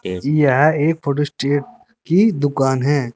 अजी यहां एक फोटो स्टेट की दुकान हैं।